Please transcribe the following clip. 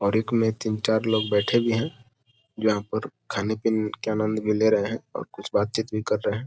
और एक में तीन चार लोग बैठे भी है जहाँ पे खाने पिने का आनंद ले रहे हैं और बात-चीत भी कर रहे हैं।